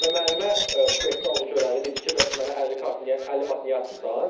Və müəllimə bufetdə onu görəndə dedi ki, bəs mənə 50 kart niyə, 50 manat niyə atmısan?